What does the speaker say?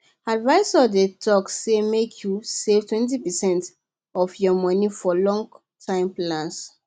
advisors dey talk say make you savetwentypercent of your money for longtime plans